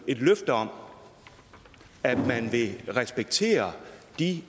et løfte om at man vil respektere de